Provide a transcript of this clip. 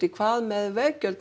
hvað með veggjöld